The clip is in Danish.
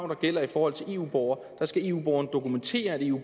der gælder i forhold til eu borgere skal eu borgere dokumentere at de